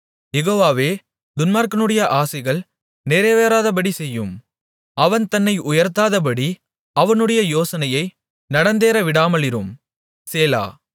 யெகோவாவே துன்மார்க்கனுடைய ஆசைகள் நிறைவேறாதபடிசெய்யும் அவன் தன்னை உயர்த்தாதபடி அவனுடைய யோசனையை நடந்தேற விடாமலிரும் சேலா